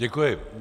Děkuji.